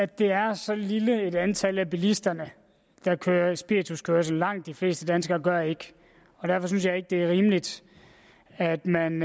det er så lille et antal bilister der kører spirituskørsel langt de fleste danskere gør ikke og derfor synes jeg ikke det er rimeligt at man